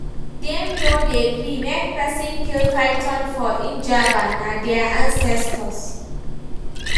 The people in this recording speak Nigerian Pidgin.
Dem no dey gree make pesin kill python for Njaba, na their ancestors.